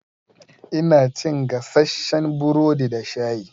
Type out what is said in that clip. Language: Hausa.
Ina cin gasasshen burodi da shayi.